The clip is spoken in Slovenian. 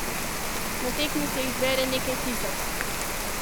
Na tekmi se jih zbere nekaj tisoč.